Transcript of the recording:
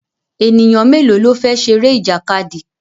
Ènìyàn mélòó ló fẹ́ ṣeré ìjàkadì?